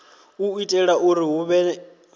u itela uri hu vhe